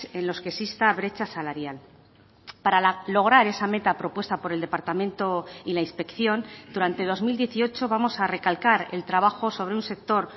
en los que exista brecha salarial para lograr esa meta propuesta por el departamento y la inspección durante dos mil dieciocho vamos a recalcar el trabajo sobre un sector